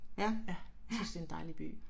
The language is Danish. Synes det er en dejlig by